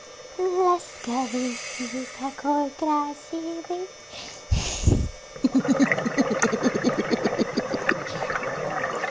ласковый и такой красивый хи-хи-хи